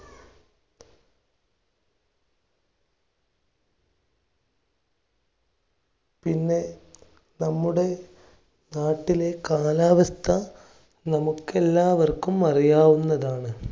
പിന്നെ നമ്മുടെ നാട്ടിലെ കാലാവസ്‌ഥ നമുക്ക് എല്ലാവർക്കും അറിയാവുന്നതാണ്.